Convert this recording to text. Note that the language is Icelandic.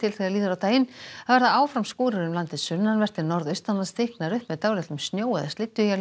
þegar líður á daginn það verða áfram skúrir um landið sunnanvert en norðaustanlands þykknar upp með dálitlum snjó eða